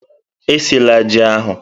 Esila ji ahụ!